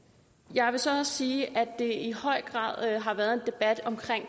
jeg vil så også sige at det i høj grad har været en debat om